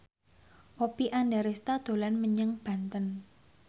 Oppie Andaresta dolan menyang Banten